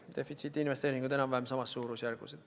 Defitsiit ja investeeringud on enam-vähem samas suurusjärgus.